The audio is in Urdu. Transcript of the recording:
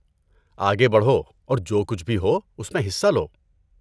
آگے بڑھو اور جو کچھ بھی ہو اس میں حصہ لو۔